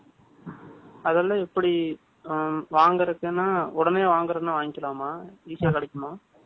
அதெல்லாம், எப்படி, அ, வாங்குறதுக்குன்னா, உடனே வாங்குறதுன்னா, வாங்கிக்கலாமா? Easy ஆ கிடைக்குமா